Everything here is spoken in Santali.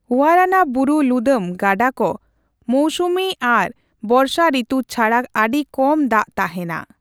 ᱳᱣᱟᱨᱟᱱᱟ ᱵᱩᱨᱩ ᱞᱩᱫᱟᱢ ᱜᱟᱰᱟ ᱠᱚ ᱢᱳᱣᱥᱩᱢᱤ ᱟᱨ ᱵᱚᱨᱥᱟ ᱨᱤᱛᱩ ᱪᱷᱟᱲᱟ ᱟᱹᱰᱤ ᱠᱚᱢ ᱫᱟᱜᱽ ᱛᱟᱸᱦᱮᱱᱟ ᱾